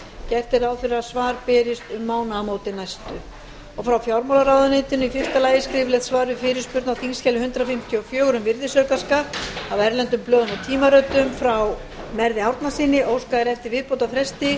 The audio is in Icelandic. gert er ráð fyrir að svar berist um næstu mánaðamót frá fjármálaráðuneytinu fyrstu skriflegt svar við fyrirspurn á þingskjali hundrað fimmtíu og fjögur um virðisaukaskatt af erlendum blöðum og tímaritum frá merði árnasyni óskað er eftir viðbótarfresti